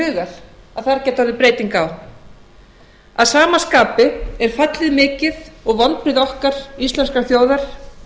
hugar að þar gæti orðið breyting á að sama skapi er fallið mikið og vonbrigði okkar íslenskrar þjóðar